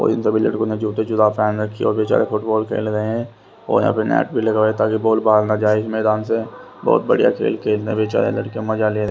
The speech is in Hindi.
और इन सभी लड़कों ने जूते जुरा पहन रखी और बेचारे फुटबॉल खेल रहे हैं और यहां पे नेट भी लगवाए ताकि बॉल बाहर ना जाए इस मैदान से बहुत बढ़िया खेलने बेचारे लड़के मजा--